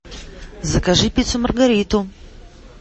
закажи пиццу маргариту